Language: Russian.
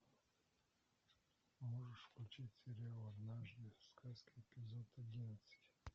можешь включить сериал однажды в сказке эпизод одиннадцать